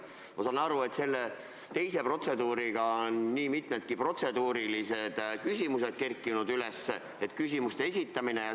Ma saan aru, et selle teise protseduuriga seoses on üles kerkinud nii mitmedki protseduurilised küsimused, näiteks küsimuste esitamise kohta.